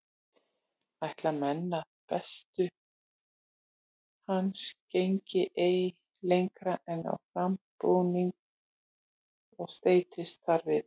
Ætla menn að hestur hans gengi ei lengra en á frambrúnina og streittist þar við.